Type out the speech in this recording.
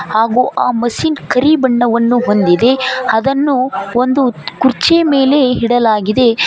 ಹಾಗು ಆ ಮಷೀನ್ ಕರಿ ಬಣ್ಣವನ್ನು ಹೊಂದಿದೆ ಅದನ್ನು ಒಂದು ಕುರ್ಚಿ ಮೆಲೆ ಇಡಲಾಗಿದೆ.